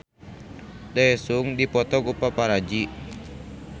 Daesung dipoto ku paparazi